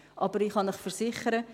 Aber ich kann Ihnen versichern: